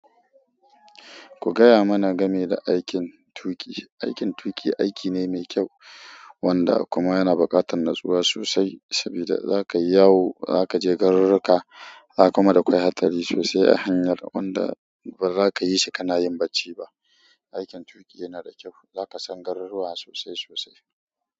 Ku gaya mana game da aikin tuƙi. Aikin tuƙi aiki ne mai kyau wanda kuma yana buƙatar natsuwa sosai sabida za ka yi yawo, za ka je garuruka, za kuma da kwai hatsari sosai a hanyar wanda ba za ka yi shi ka na yin bacci ba. Aikin tuƙi yana da kyau, za ka san garuruwa sosai sosai.